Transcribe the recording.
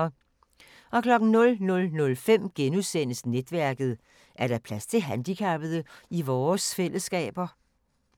00:05: Netværket: Er der plads til handicappede i vores fællesskaber *